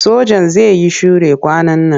Sojan zai yi sure kwanan nan.